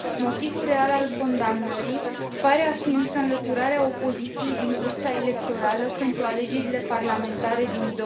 Motivul real al condamnării pare a fi însă înlăturarea opoziției din cursa electorală pentru alegerile parlamentare din